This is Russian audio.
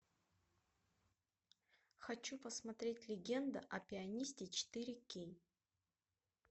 хочу посмотреть легенда о пианисте четыре кей